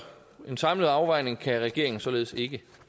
en samlet afvejning kan regeringen således ikke